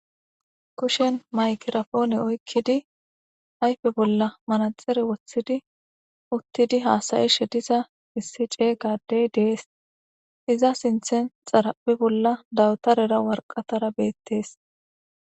kushen maykirapoone oykkidi ayfe bolla manaxare woththidi uttidi haasayishediza issi cey gadey dees iza sinthen xarapi bolla dawutarera warqatara beettees